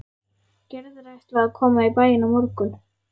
Gerður ætlaði að koma í bæinn á morgun.